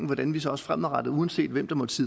hvordan vi så også fremadrettet uanset hvem der måtte